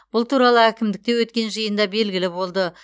бұл туралы әкімдікте өткен жиында белгілі болды